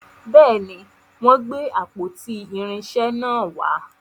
béèni, wón gbé àpótí irinṣẹ nà wà.